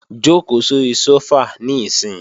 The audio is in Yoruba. Jòkó sóri sófà níìsín!